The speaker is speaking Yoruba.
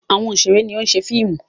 Àwọn òṣèré ni ó ń ṣe fíìmù.